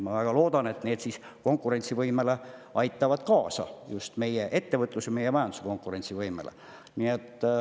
Ma väga loodan, et need konkurentsivõimele aitavad kaasa, just meie ettevõtlusele ja meie majanduse konkurentsivõimele.